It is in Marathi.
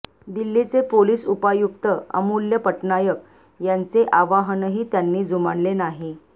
दिल्लीचे पोलीस उपायुक्त अमूल्य पटनायक यांचे आवाहनही त्यांनी जुमानले नाही